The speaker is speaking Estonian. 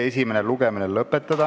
Päevakorrapunktide menetlus on lõppenud.